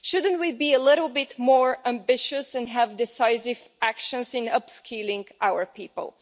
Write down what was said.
Shouldn't we be a little bit more ambitious and take decisive action in upskilling our people?